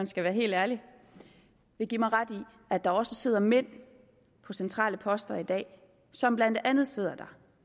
skal være helt ærlig vil give mig ret i at der også sidder mænd på centrale poster i dag som blandt andet sidder der